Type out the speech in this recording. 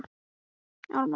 Svo hætti ég að gæta mín.